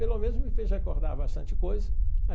Pelo menos me fez recordar bastante coisa.